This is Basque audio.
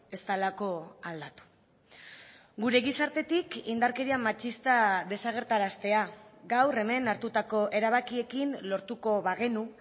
ez delako aldatu gure gizartetik indarkeria matxista desagerraraztea gaur hemen hartutako erabakiekin lortuko bagenu